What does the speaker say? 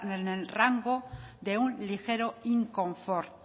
en el rango de un ligero inconfort